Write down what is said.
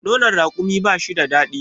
nono rakumi ba shi da dadi